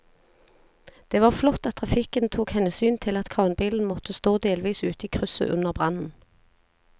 Det var flott at trafikken tok hensyn til at kranbilen måtte stå delvis ute i krysset under brannen.